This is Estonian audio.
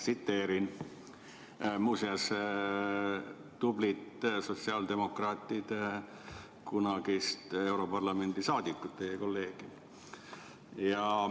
Tsiteerin tublit sotsiaaldemokraatide kunagist europarlamendi liiget, teie kolleegi.